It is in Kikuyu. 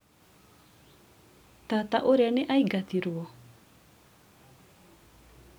tata ũrĩa nĩaingatirwo?